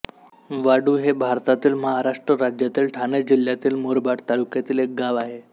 वाडु हे भारतातील महाराष्ट्र राज्यातील ठाणे जिल्ह्यातील मुरबाड तालुक्यातील एक गाव आहे